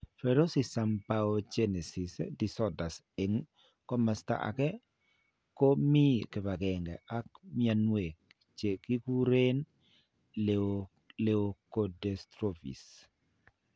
Peroxisome biogenesis disorders, eng' komaste ake, ko mi kipang'eng'e ak mnyanweek che kikurn leukodystrophies.